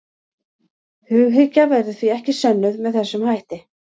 Hughyggja verður því ekki sönnuð með þessum hætti.